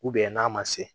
n'a ma se